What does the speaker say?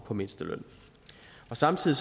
på mindsteløn samtidig